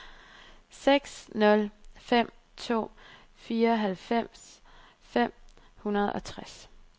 seks nul fem to fireoghalvfems fem hundrede og tres